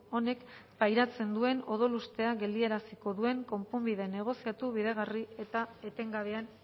honek pairatzen duen odolustea geldiaraziko duen konponbide negoziatu bideragarri eta etengabean